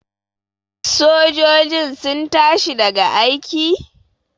sojojin sun tashi daga aiki?